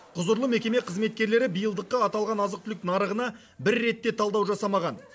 құзырлы мекеме қызметкерлері биылдыққа аталған азық түлік нарығына бір рет те талдау жасамаған